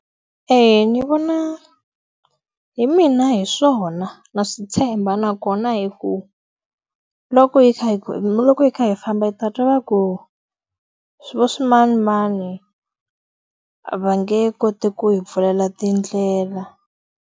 Eya ndzi vona hi mina hi swona na swi tshemba nakona hi ku, loko hi kha hi loko hi kha hi famba hi ta twa va ku vaswinanimani va nge koti ku hi pfulela tindlela.